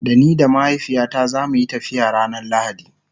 Da ni da mahaifiyata zamuyi tafiya ranar lahadi